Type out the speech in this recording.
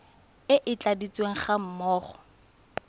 e e tladitsweng ga mmogo